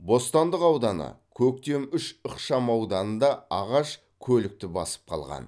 бостандық ауданы көктем үш ықшамауданында ағаш көлікті басып қалған